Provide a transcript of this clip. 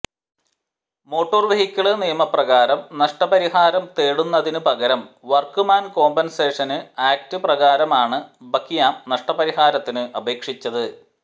motor vehicle നിയമപ്രകാരം നഷ്ടപരിഹാരം നേടുന്നതിന് പകരം വര്ക്ക് മാന് കോംപന്സേഷന് ആക്ട് പ്രകാരമാണ് ബക്കിയാം നഷ്ടപരിഹാരത്തിന് അപേക്ഷിച്ചത്